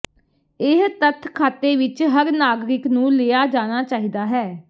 ਇਹ ਤੱਥ ਖਾਤੇ ਵਿੱਚ ਹਰ ਨਾਗਰਿਕ ਨੂੰ ਲਿਆ ਜਾਣਾ ਚਾਹੀਦਾ ਹੈ